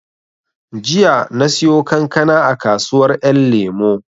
Jiya na siyo kankana a kasuwar ƴan lemo